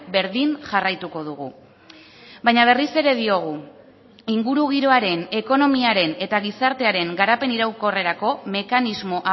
berdin jarraituko dugu baina berriz ere diogu ingurugiroaren ekonomiaren eta gizartearen garapen iraunkorrerako mekanismo